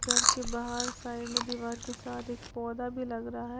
घर के बाहर साइड में दीवार के साथ एक पौधा भी लग रहा है।